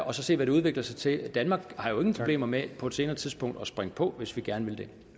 og så se hvad det udvikler sig til danmark har jo ingen problemer med på et senere tidspunkt at springe på hvis vi gerne vil det